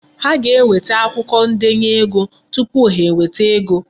Ha ga-enweta akwụkwo ndenye ego tupu ha enweta ego.